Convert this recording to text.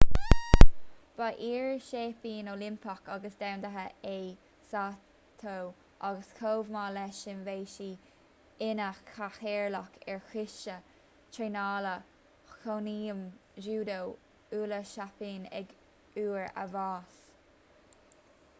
ba iar-sheaimpín oilimpeach agus domhanda é saito agus chomh maith leis sin bhí sé ina chathaoirleach ar choiste traenála chónaidhm júdó uile-sheapáin ag uair a bháis